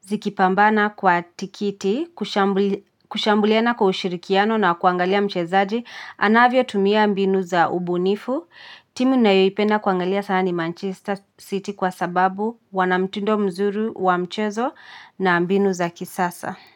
zikipambana kwa tikiti kushambuliana kwa ushirikiano kuangalia mchezaji anavyo tumia mbinu za ubunifu. Timu nayoipenda kuangalia sana ni Manchester City kwa sababu wana mtindo mzuri wa mchezo na mbinu za kisasa.